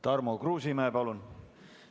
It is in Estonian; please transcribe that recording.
Tarmo Kruusimäe, palun!